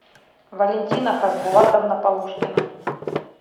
валентина хазбулатовна полушкина